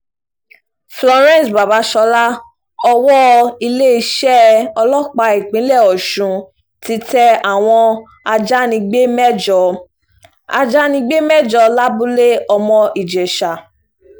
florence babàsọlá owó iléeṣẹ́ ọlọ́pàá ìpínlẹ̀ ọ̀sùn ti tẹ àwọn ajánigbé mẹ́jọ ajánigbé mẹ́jọ lábúlé ọmọ-ìjèṣà